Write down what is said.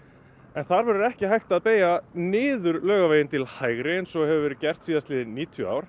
en þar verður ekki hægt að beygja niður Laugaveginn til hægri eins og hefur verið gert síðastliðin níutíu ár